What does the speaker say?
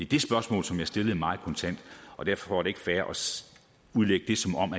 det spørgsmål som jeg stillede meget kontant og derfor er det ikke fair at udlægge det som om